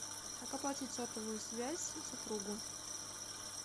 как оплатить сотовую связь супругу